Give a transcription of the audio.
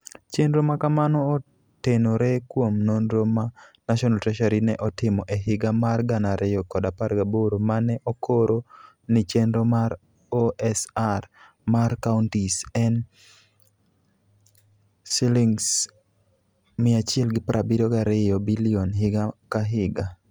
Chenro ma kamano otenore kuom nonro ma National Treasury ne otimo e higa mar 2018 ma ne okoro ni chenro mar OSR mar counties en Sh172 billion higa ka higa.